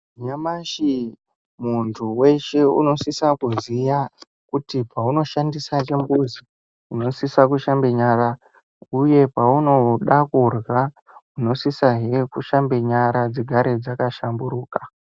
Nyamashi muntu weshe unosisa kuziya kuti paanodhandisa chimbuzi unosisa kushambe nyara uye paunoda kurya unosisahe kushambe nyara dzigare dzakashamburuka.